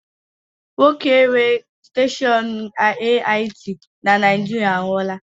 Nwoke nwe steshọọnu AIT na Naijiriia anwụọla